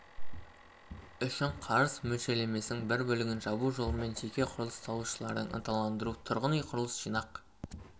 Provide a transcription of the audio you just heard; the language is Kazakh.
үшін қарыз мөлшерлемесінің бір бөлігін жабу жолымен жеке құрылыс салушыларды ынталандыру тұрғын үй құрылыс жинақ